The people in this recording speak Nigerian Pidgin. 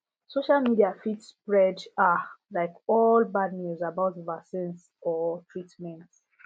social media fit spread ah like all bad news about vaccines or treatment